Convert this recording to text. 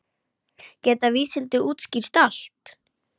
Geta vísindin útskýrt allt?